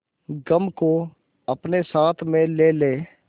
गम को अपने साथ में ले ले